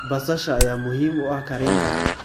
Basasha ayaa muhiim u ah karinta.